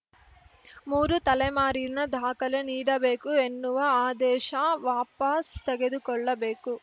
ಮೂರು ತಲೆಮಾರಿನ ದಾಖಲೆ ನೀಡಬೇಕು ಎನ್ನುವ ಆದೇಶ ವಾಪಾಸ್‌ ತೆಗೆದುಕೊಳ್ಳಬೇಕು